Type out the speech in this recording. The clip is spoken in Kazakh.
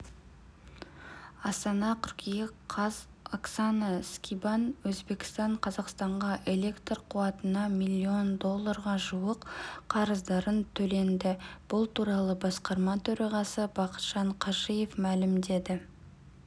астана қыркүйек қаз оксана скибан өзбекстан қазақстанға электр қуатына миллион долларға жуық қарыздарын төленді бұл туралы басқарма төрағасы бақытжан қажиев мәлімдеді